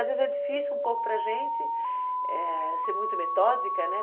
Às vezes é difícil um pouco para gente ser muito metódica, né?